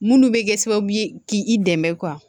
Munnu bɛ kɛ sababu ye k'i dɛmɛ